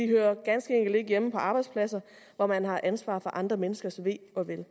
hører ganske enkelt ikke hjemme på arbejdspladser hvor man har ansvaret for andre menneskers ve og vel